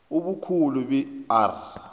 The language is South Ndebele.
ubukhulu be r